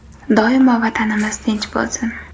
Doimo Vatanimiz tinch bo‘lsin.